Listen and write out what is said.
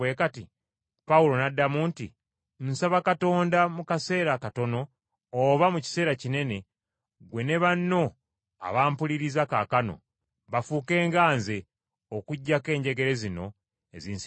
Pawulo n’addamu nti, “Nsaba Katonda, mu kaseera katono oba mu kiseera kinene, ggwe ne bonna abampuliriza kaakano, bafuuke nga nze, okuggyako enjegere zino ezinsibiddwa.”